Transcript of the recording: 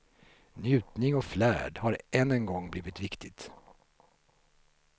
Njutning och flärd har än en gång blivit viktigt.